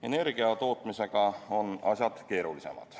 Energia tootmisega on asjad keerulisemad.